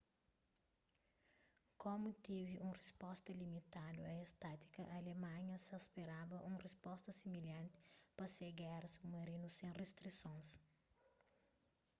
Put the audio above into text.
komu tevi un risposta limitadu a es tátika alemanha sa speraba un risposta similhanti pa se géra submarinu sen ristrisons